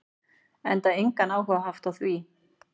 Enda engan áhuga haft á því.